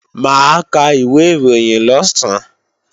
Mà á ka ìwé ìròyìn lọ̀sán